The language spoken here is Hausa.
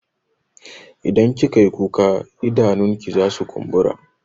Idan kika yi kuka idanunki zasu kumbura.